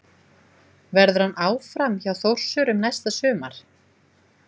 Verður hann áfram hjá Þórsurum næsta sumar?